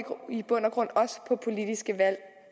bund og grund også på politiske valg